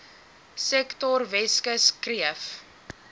sektor weskus kreef